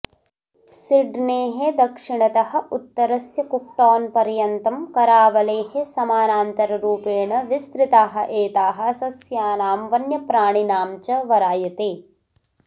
सिड्नेः दक्षिणतः उत्तरस्य कुक्टौन्पर्यन्तं करावलेः समानान्तररूपेण विस्तृताः एताः सस्यानां वन्यप्राणिनाञ्च वरायते